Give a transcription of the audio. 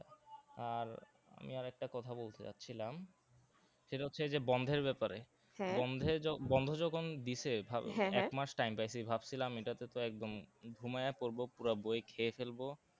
আর আমি আর একটা কথা বলতে যাচ্ছিলাম সেটা হচ্ছে যে বন্ধের ব্যাপারে বন্ধে জখ~ বন্ধ যখন দিসে ভালো এক মাস time পাইছি ভাবছিলাম এটাতে তো একদম ঘুমায়া পরবো পুরা বই খেয়ে ফেলবো